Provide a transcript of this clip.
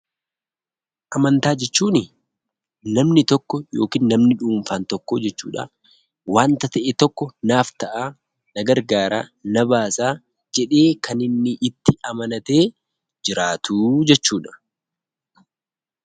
Amantaa jechuuni; namni tokko ykn namni dhuunfaan tokko jechuudha wanta ta'e tokko naaf ta'a, na gargaraa, na baasaa jedhee Kan inni itti amanaatee jiraatu jechuudha.